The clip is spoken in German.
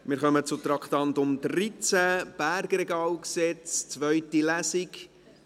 Wir kommen zu Traktandum 13, Bergregalgesetz, zweite Lesung.